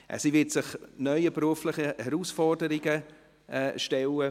Sie wird sich neuen beruflichen Herausforderungen stellen.